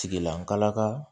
Tigilankala ka